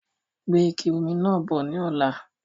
Gbe ike omi náà bọ̀ ni ọ̀la!